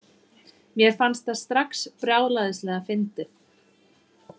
Mér fannst það strax brjálæðislega fyndið.